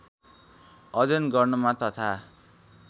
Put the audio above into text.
अध्ययन गर्नमा तथा